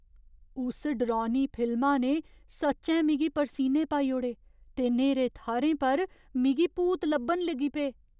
उस डरौनी फिल्मा ने सच्चैं मिगी परसीने पाई ओड़े ते न्हेरे थाह्‌रें पर मिगी भूत लब्भन लगी पे।